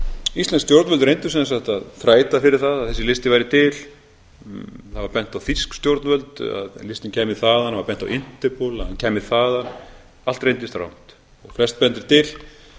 íslensk stjórnvöld reyndu sem sagt að þræta fyrir það að þessi listi væri til það var bent á þýsk stjórnvöld að listinn kæmi þaðan það var bent á interpol að hann kemi þaðan allt reyndist rangt flest bendir til að